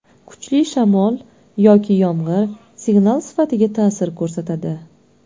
Kuchli shamol yoki yomg‘ir, signal sifatiga ta’sir ko‘rsatadi.